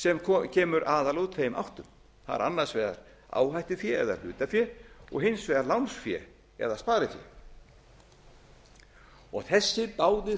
sem kemur aðallega úr tveimur áttum það er annars vegar áhættufé eða hlutafé og hins vegar lánsfé eða sparifé þessir báðir